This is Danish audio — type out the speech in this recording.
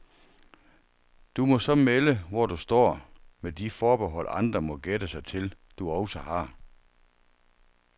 Du må så melde, hvor du står, med de forbehold andre må gætte sig til, du også har.